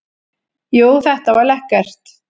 Jú, þetta var lekkert.